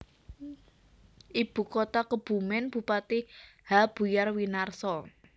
Ibu kota KebumenBupati H Buyar Winarso